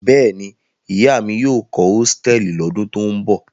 Bẹ́ẹ̀ ni, ìyá mi yóò kọ́ hòtẹ́ẹ́lì lọ́dún tó ń bọ̀.